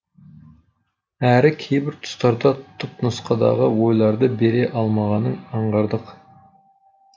әрі кейбір тұстарда түпнұсқадағы ойларды бере алмағанын аңғардық